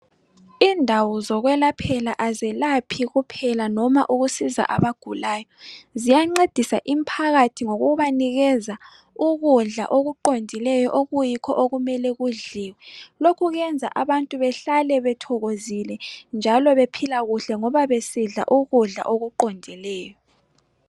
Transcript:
Indawo zokwelaphela azelaphi kuphelanoma ukusiza abagulayo ziyancedisa imphakathi ngokubanikeza ukudla okuqondileyo okuyikho okumele kudliwe, lokhukwenza abantu bahlale bethokozile njalo bephila kuhle ngoba besidla ukudla okuqongileyo.